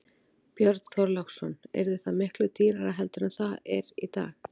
Björn Þorláksson: Yrði það miklu dýrara heldur en það er í dag?